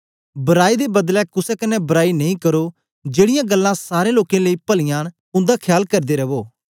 बराई दे बदलै कुसे कन्ने बराई नेई करो जेड़ीयां गल्लां सारें लोकें लेई पलीयां न उन्दा ख्याल करदे रखो